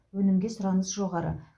өнімге сұраныс жоғары